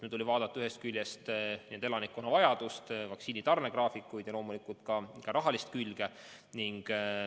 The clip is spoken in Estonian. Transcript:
Meil tuli arvestada ühest küljest elanikkonna vajadust, vaktsiinide tarnegraafikuid ja loomulikult ka rahalist külge.